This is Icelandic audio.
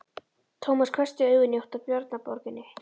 Tómas hvessti augun í átt að Bjarnaborginni.